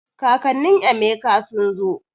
Kakannin Emeka sun zo